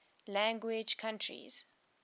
language countries